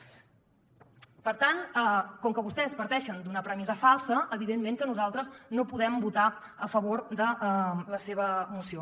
per tant com que vostès parteixen d’una premissa falsa evidentment que nosaltres no podem votar a favor de la seva moció